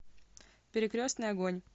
перекрестный огонь